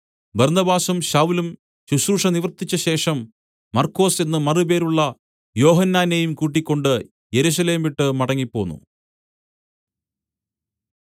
ബർന്നബാസും ശൌലും ശുശ്രൂഷ നിവർത്തിച്ചശേഷം മർക്കൊസ് എന്ന് മറുപേരുള്ള യോഹന്നാനെയും കൂട്ടിക്കൊണ്ട് യെരൂശലേം വിട്ട് മടങ്ങിപ്പോന്നു